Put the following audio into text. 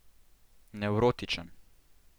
Nevrotičen.